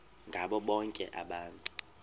ngabo bonke abantu